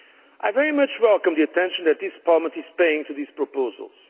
I very much welcome the attention that this Parliament is paying to these proposals.